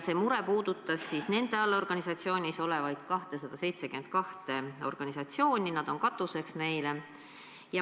See mure puudutas nende organisatsiooni 272 allorganisatsiooni, nemad on neile katuseks.